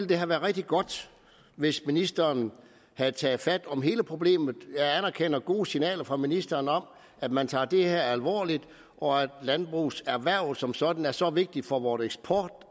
det have været rigtig godt hvis ministeren havde taget fat i hele problemet jeg anerkender gode signaler fra ministeren om at man tager det her alvorligt og at landbrugserhvervet som sådan er så vigtigt for vores eksport